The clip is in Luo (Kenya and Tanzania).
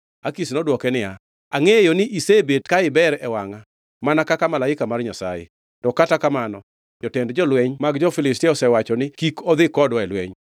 Akish nodwoke niya, “Angʼeyo ni isebet ka iber e wangʼa mana ka malaika mar Nyasaye; to kata kamano jotend jolweny mag jo-Filistia osewacho ni, ‘Kik odhi kodwa e lweny.’